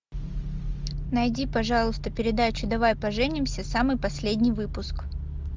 найди пожалуйста передачу давай поженимся самый последний выпуск